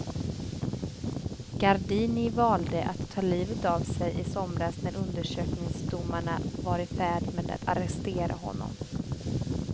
Gardini valde att ta livet av sig i somras när undersökningsdomarna var i färd med att arrestera honom.